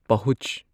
ꯄꯍꯨꯖ